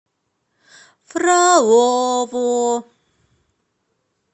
фролово